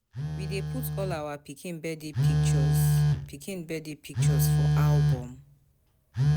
We dey put all our pikin birthday pictures pikin birthday pictures for album.